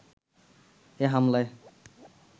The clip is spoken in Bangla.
এ হামলায়